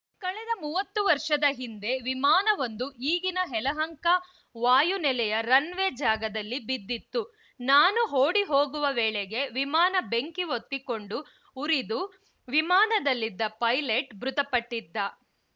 ಕಳೆದ ಮೂವತ್ತು ವರ್ಷದ ಹಿಂದೆ ವಿಮಾನವೊಂದು ಈಗಿನ ಯಲಹಂಕ ವಾಯು ನೆಲೆಯ ರನ್‌ವೇ ಜಾಗದಲ್ಲಿ ಬಿದ್ದಿತ್ತು ನಾನು ಓಡಿ ಹೋಗುವ ವೇಳೆಗೆ ವಿಮಾನ ಬೆಂಕಿ ಹೊತ್ತಿಕೊಂಡು ಉರಿದು ವಿಮಾನದಲ್ಲಿದ್ದ ಪೈಲಟ್‌ ಮೃತಪಟ್ಟಿದ್ದ